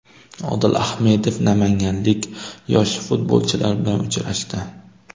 Odil Ahmedov namanganlik yosh futbolchilar bilan uchrashdi .